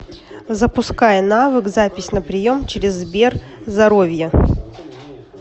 запускай навык запись на прием через сберзоровье